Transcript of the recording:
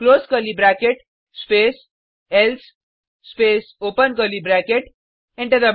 close curly bracket space else space open curly bracket enter